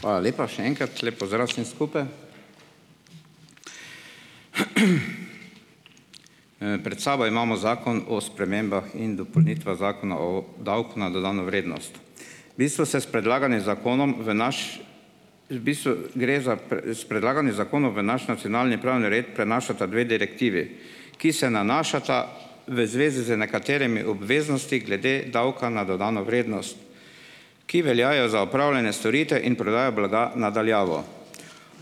Hvala lepa, še enkrat. Lep pozdrav vsem skupaj. Pred sabo imamo Zakon o spremembah in Zakona o davku na dodano vrednost. Mi smo se s predlaganim zakonom v naš ... V bistvu gre za S predlaganim zakonom v naš nacionalni pravni red prenašata dve direktivi, ki se nanašata v zvezi z nekaterimi obveznosti glede davka na dodano ki veljajo za opravljanje storitev in prodajo blaga na daljavo.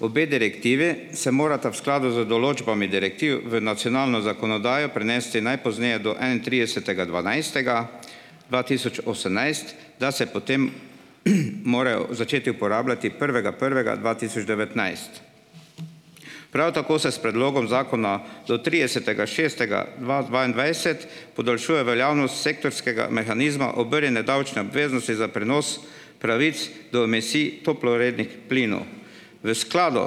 Obe direktivi se morata v skladu z določbami direktiv v nacionalno zakonodajo prenesti najpozneje do enaintridesetega dvanajstega dva tisoč osemnajst, da se potem, morajo začeti uporabljati prvega prvega dva tisoč devetnajst. Prav tako se s predlogom zakona do tridesetega šestega dva dvaindvajset podaljšuje veljavnost sektorskega mehanizma obrnjene davčne obveznosti za prenos pravic do emisij toplogrednih plinov. V skladu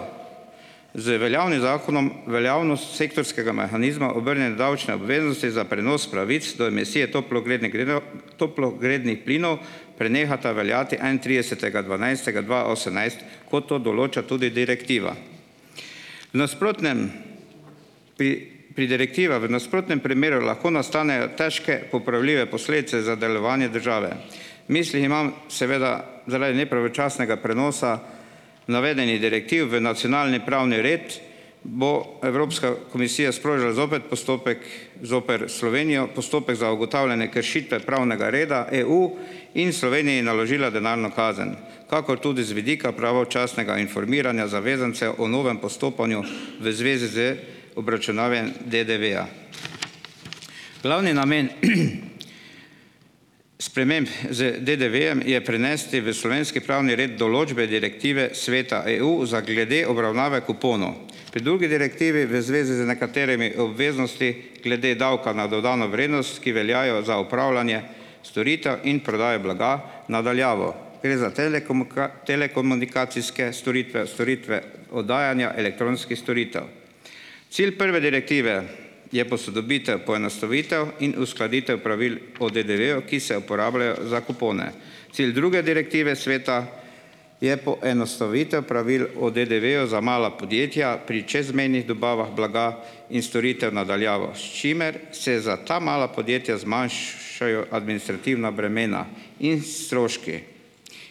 z veljavnim zakonom veljavnost sektorskega mehanizma obrnjene davčne obveznosti za prenos pravic do emisije toplogrednih grinov toplogrednih plinov prenehata veljati enaintridesetega dvanajstega dva osemnajst, kot to določa tudi direktiva. V nasprotnem pri pri direktiva v nasprotnem primeru lahko nastanejo težko popravljive posledice za delovanje države. V mislih imam seveda zaradi nepravočasnega prenosa navedenih direktiv v nacionalni pravni red bo Evropska komisija sprožila zopet postopek zoper Slovenijo, postopek za ugotavljanje kršite pravnega reda EU in Sloveniji naložila denarno kazen kakor tudi z vidika pravočasnega informiranja zavezancev o novem postopanju v zvezi z obračunavanjem DDV-ja. Glavni namen, sprememb z DDV-jem je prenesti v slovenski pravni red določbe direktive Sveta EU za glede obravnave kuponov. Pri drugi direktivi v zvezi z nekaterimi obveznosti glede davka na dodano vrednost, ki veljajo za opravljanje storitev in prodaje blaga na daljavo. Gre za telekomunikacijske storitve, storitve oddajanja elektronskih storitev. Cilj prve direktive je posodobitev, poenostavitev in uskladitev pravil o DDV-ju, ki se uporabljajo za kupone. Cilj druge direktive sveta je poenostavitev pravil o DDV-ju za mala podjetja pri čezmejnih dobavah blaga in storitev na daljavo, s čimer se za ta mala podjetja zmanjšajo administrativna bremena in stroški.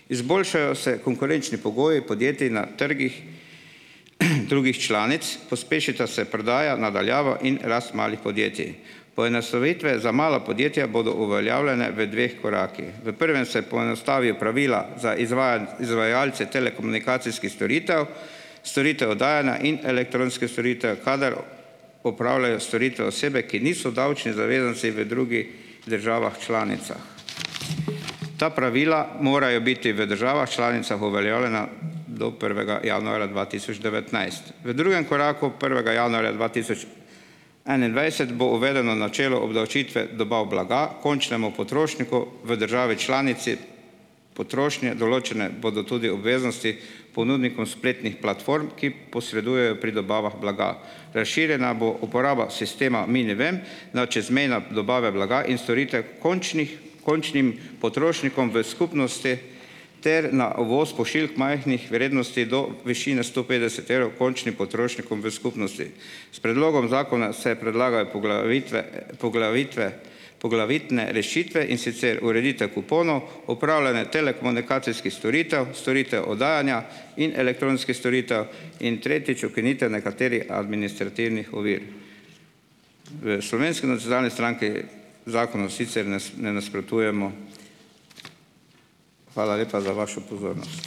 Izboljšajo se konkurenčni pogoji podjetij na trgih, drugih članic, pospešita se prodaja na daljavo in rast malih podjetij. Poenostavitve za mala podjetja bodo uveljavljene v dveh korakih. V prvem se poenostavijo pravila za izvajalce telekomunikacijskih storitev, storitev oddajanja in elektronskih storitev, kadar opravljajo storitve osebe, ki niso davčni zavezanci v drugih državah članicah. Ta pravila morajo biti v državah članicah uveljavljena do prvega januarja dva tisoč devetnajst. V drugem koraku prvega januarja dva tisoč enaindvajset bo uvedeno načelo obdavčitve dobav blaga končnemu potrošniku v državi članici potrošnje. Določene bodo tudi obveznosti ponudnikom spletnih platform, ki posredujejo pri dobavah blaga. Razširjena bo uporaba sistema minivem na čezmejne dobave blaga in storitev končnih končnim potrošnikom v skupnosti ter na uvoz pošiljk majhnih vrednosti do višine sto petdeset evrov končnim potrošnikom v skupnosti. S predlogom zakona se predlagajo poglavitve poglavitve poglavitne rešitve, in sicer ureditev kuponov, upravljanje telekomunikacijskih storitev, storitev oddajanja in elektronskih storitev in, tretjič, ukinitev nekaterih administrativnih ovir. V Slovenski nacionalni stranki zakonu sicer ne nasprotujemo. Hvala lepa za vašo pozornost.